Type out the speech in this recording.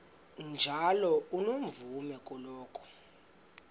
njalo unomvume kuloko